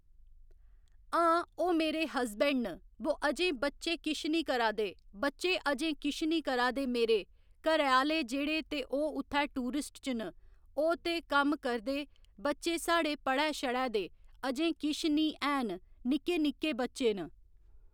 हां ओह्‌ मेरे हस्बैंड न बो अजें बच्चे किश नि करा दे बच्चे अजें किश नि करा दे मेरे घरे आह्‌ले जेह्ड़े ते ओह् उत्थै टूरिस्ट च न ओह् ते कम्म करदे बच्चे साढ़े पढ़ै शड़ै दे अजें किश नि हैन निक्के निक्के बच्चे न